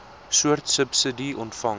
soort subsidie ontvang